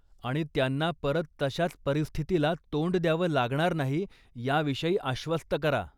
आणि त्यांना परत तशाच परिस्थितीला तोंड द्यावं लागणार नाही याविषयी आश्वस्त करा.